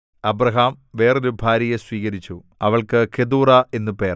Abraham വേറൊരു ഭാര്യയെ സ്വീകരിച്ചു അവൾക്കു കെതൂറാ എന്നു പേർ